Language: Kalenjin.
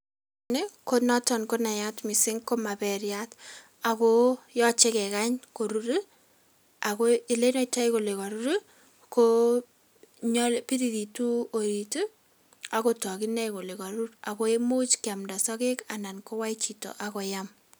Ni konoton ko ne naat mising ko maperyat ako yoche kekany korur. Ako ole inoitoi kole karur ko biriritu orit, aku tok ine oole karur ako much keamda sokek anan kowai chito akoam.